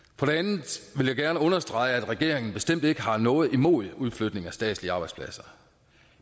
og jeg gerne understrege at regeringen bestemt ikke har noget imod udflytning af statslige arbejdspladser